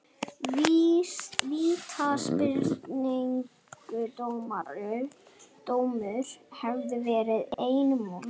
Vítaspyrnudómur hefði verið einum of mikið.